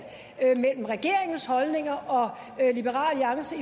mellem regeringens holdninger og liberal alliances